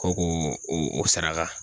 Ko k'o o saraka